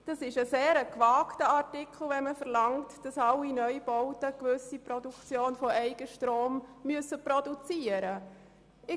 Es ist sehr gewagt, von allen Neubauten zu verlangen, dass sie eine gewisse Menge an Eigenstrom produzieren müssen.